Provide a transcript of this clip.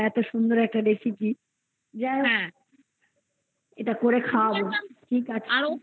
তুমি তো phone থেকে একবার আমাকে দেখালে কত রকম recipe